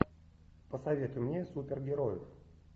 посоветуй мне супергероев